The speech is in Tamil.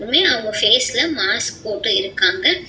மே அவங்க ஃபேஸ்ல மாஸ்க் போட்டு இருக்காங்க.